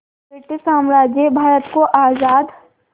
British साम्राज्य भारत को आज़ाद